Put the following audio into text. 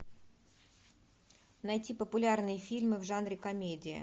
найти популярные фильмы в жанре комедия